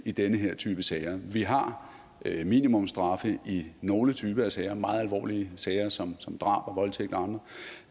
i den her type sager vi har minimumsstraffe i nogle typer af sager meget alvorlige sager som som drab og voldtægt og